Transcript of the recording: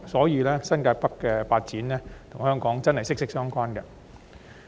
因此，新界北發展確實與香港息息相關。